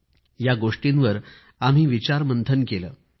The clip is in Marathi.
आम्ही या गोष्टींवर मंथन केले